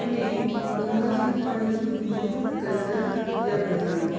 में गंगा जी का पानी बहुत गन्दा लग रहा है।